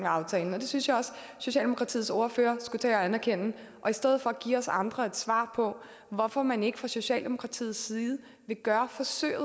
aftalen og det synes jeg at socialdemokratiets ordfører skulle tage at anerkende og i stedet for give os andre et svar på hvorfor man ikke fra socialdemokratiets side vil gøre forsøget